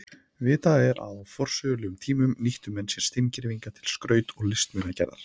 Vitað er að á forsögulegum tíma nýttu menn sér steingervinga til skraut- og listmunagerðar.